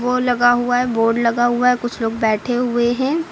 ओ लगा हुआ है बोर्ड लगा हुआ है कुछ लोग बैठे हुए हैं।